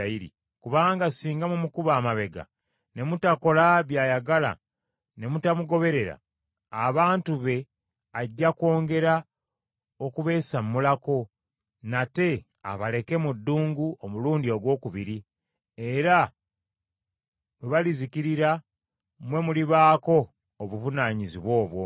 Kubanga singa mumukuba amabega ne mutakola by’ayagala ne mutamugoberera, abantu be ajja kwongera okubeesammulako, nate abaleke mu ddungu omulundi ogwokubiri, era bwe balizikirira mwe mulibaako obuvunaanyizibwa obwo.”